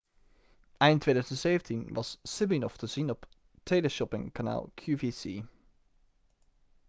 eind 2017 was siminoff te zien op teleshoppingkanaal qvc